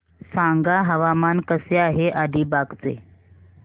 सांगा हवामान कसे आहे अलिबाग चे